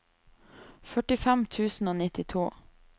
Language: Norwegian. førtifem tusen og nittito